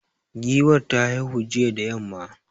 Giwar ta haihu jiya da yamma.